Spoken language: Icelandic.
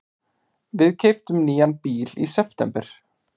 Við keyptum nýjan bíl í september.